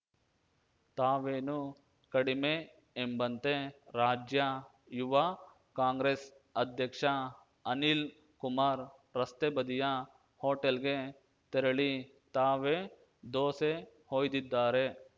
ತಾವೇನು ಕಡಿಮೆ ಎಂಬಂತೆ ರಾಜ್ಯ ಯುವ ಕಾಂಗ್ರೆಸ್‌ ಅಧ್ಯಕ್ಷ ಅನಿಲ್‌ ಕುಮಾರ್‌ ರಸ್ತೆ ಬದಿಯ ಹೋಟೆಲ್‌ಗೆ ತೆರಳಿ ತಾವೇ ದೊಸೆ ಹೊಯ್ದಿದ್ದಾರೆ